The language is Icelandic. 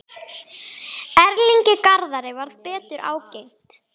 Erlingi Garðari varð betur ágengt.